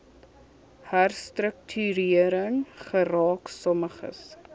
herstruktuering geraak sommiges